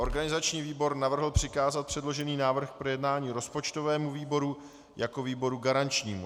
Organizační výbor navrhl přikázat předložený návrh k projednání rozpočtovému výboru jako výboru garančnímu.